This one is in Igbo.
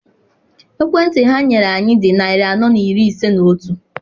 Ekwentị ha nyere anyị dị narị anọ na iri ise na otu.